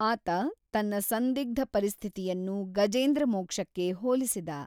ಆತ ತನ್ನ ಸಂದಿಗ್ಧ ಪರಿಸ್ಥಿತಿಯನ್ನು ಗಜೇಂದ್ರ ಮೋಕ್ಷಕ್ಕೆ ಹೋಲಿಸಿದ.